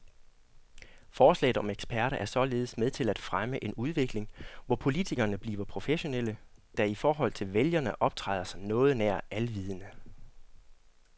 Forslaget om eksperter er således med til at fremme en udvikling, hvor politikerne bliver professionelle, der i forhold til vælgerne optræder som noget nær alvidende.